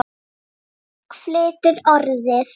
Fólk flytur Orðið.